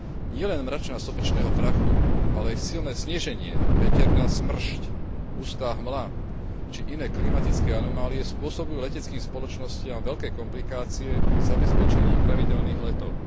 Nielen mračná sopečného prachu, ale i silné sneženie, veterná smršť, hustá hmla či iné klimatické anomálie spôsobujú leteckým spoločnostiam veľké komplikácie pri zabezpečení pravidelných letov.